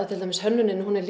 til dæmis hönnunin er